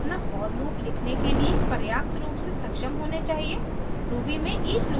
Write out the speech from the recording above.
अब आप अपना for लूप लिखने के लिए पर्याप्त रूप से सक्षम होने चाहिए